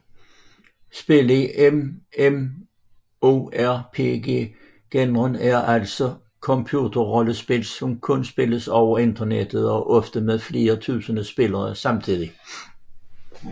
Spil i MMORPG genren er altså computerrollespil som kun spilles over internettet og ofte med flere tusinde spillere samtidig